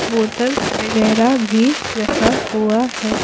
बोतलवगैरह भी रखा हुआ है।